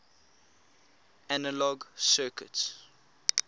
analog circuits